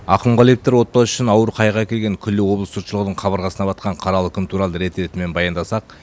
ақымғалиевтар отбасы үшін ауыр қайғы әкелген күллі облыс жұртшылығының қабырғасына батқан қаралы күн туралы рет ретімен баяндасақ